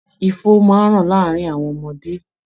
Ifo máa ń ràn láàárin àwọn ọmọdé